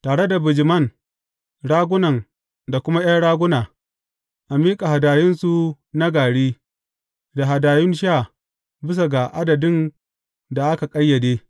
Tare da bijiman, ragunan da kuma ’yan raguna, a miƙa hadayunsu na gari, da hadayun sha bisa ga adadin da a ƙayyade.